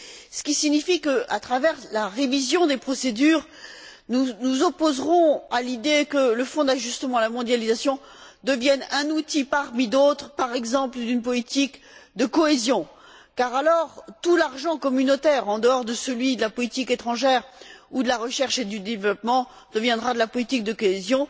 Ce qui signifie que, à travers la révision des procédures, nous nous opposerons à l'idée que le Fonds d'ajustement à la mondialisation devienne un outil parmi d'autres, par exemple d'une politique de cohésion, car alors tout l'argent communautaire, en dehors de celui de la politique étrangère ou de la recherche et du développement, deviendra de la politique de cohésion.